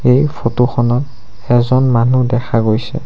এই ফটোখনত এজন মানুহ দেখা গৈছে।